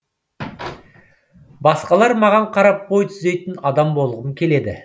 басқалар маған қарап бой түзейтін адам болғым келеді